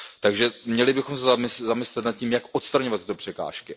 Takže měli bychom se zamyslet nad tím, jak odstraňovat tyto překážky.